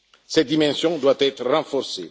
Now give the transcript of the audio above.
Cette dimension doit être renforcée.